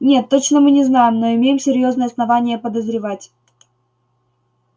нет точно мы не знаем но имеем серьёзные основания подозревать